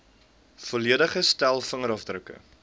volledige stel vingerafdrukke